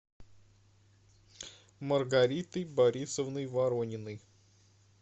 маргаритой борисовной ворониной